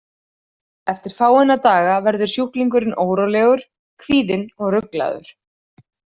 Eftir fáeina daga verður sjúklingurinn órólegur, kvíðinn og ruglaður.